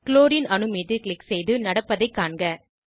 chlorine அணு மீது click செய்து நடப்படதைக் காண்க